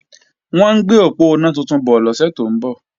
Wọ́n ń gbé òponá tuntun bọ̀ lọ́sẹ̀ tó ń bọ̀